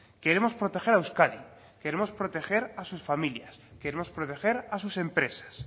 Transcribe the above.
queremos proteger a euskadi queremos proteger a sus familias queremos proteger a sus empresas